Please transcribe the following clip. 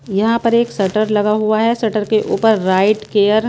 यहां पर एक शटर लगा हुआ है। शटर के ऊपर राइट केयर --